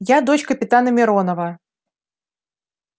я дочь капитана миронова